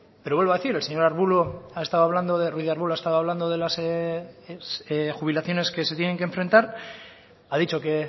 pero vuelvo a decir el señor ruíz de arbulo ha estado hablando de las jubilaciones que se tienen que enfrentar ha dicho que